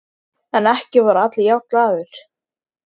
En ekki voru allir jafn glaðir.